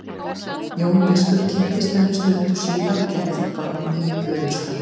Jón biskup kynntist henni stuttu síðar og gekk því barni í föðurstað.